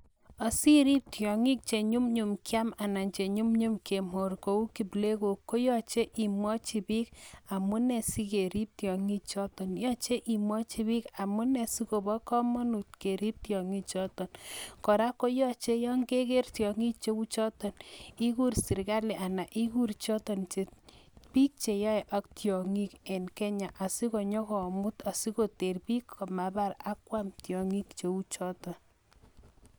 Asiriip tiongik che nyumnyum kiam anan che nyumnyum kemor kou kiplegok koyache imwachi biik amune asikerip tingichoto, yoche imwachi biik amune asikobo kamanut keriip tiongichoto, kora koyache yon kegeer tiongik cheu choto ikuur serikali anan ikuur choto che biik cheyai ak tiongik eng Kenya asinyokomuut asikoter biik komabaar ak kwaam tiongik cheu choto.